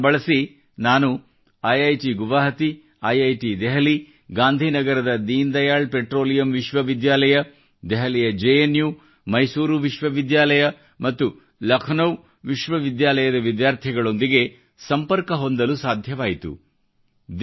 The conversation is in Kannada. ತಂತ್ರಜ್ಞಾನ ಬಳಸಿ ನಾನು ಐಐಟಿ ಗುವಾಹಾಟಿ ಐಐಟಿ ದೆಹಲಿ ಗಾಂಧಿನಗರದ ದೀನ್ ದಯಾಳ್ ಪೆಟ್ರೋಲಿಯಂ ವಿಶ್ವ ವಿದ್ಯಾಲಯ ದೆಹಲಿಯಯ ಜೆ ಎನ್ ಯು ಮೈಸೂರು ವಿಶ್ವ ವಿದ್ಯಾಲಯ ಮತ್ತು ಲಖನೌ ವಿಶ್ವ ವಿದ್ಯಾಲಯದ ವಿದ್ಯಾರ್ಥಿಗಳೊಂದಿಗೆ ಸಂಪರ್ಕ ಹೊಂದಲು ಸಾಧ್ಯವಾಯಿತು